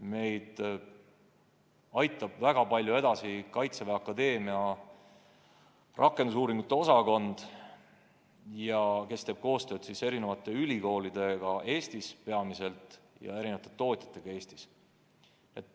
Meid aitab väga palju edasi Kaitseväe Akadeemia rakendusuuringute osakond, kes teeb koostööd eri ülikoolidega, peamiselt Eestis, ja eri tootjatega Eestis.